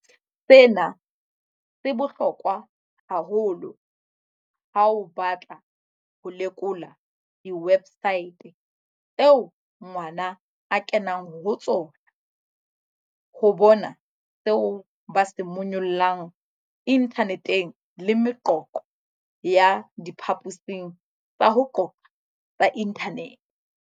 Sena se bohlokwa haholo ha o batla ho lekola diwebsaete tseo ngwana a kenang ho tsona, ho bona seo ba se monyollang inthaneteng le meqoqo ya diphaposing tsa ho qoqa tsa inthanete.